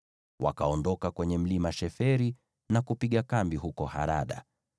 Wakaondoka kwenye mlima Sheferi na kupiga kambi huko Harada.